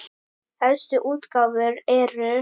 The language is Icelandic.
Helstu útgáfur eru